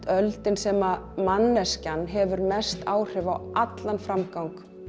öldin sem manneskjan hefur mest áhrif á allan framgang